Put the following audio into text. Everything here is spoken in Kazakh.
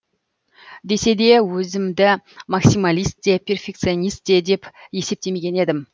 десе де өзімді максималист те перфекционист те деп есептемеген едім